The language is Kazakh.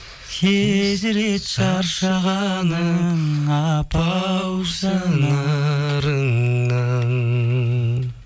сезіледі шаршағаның апа ау жанарыңнан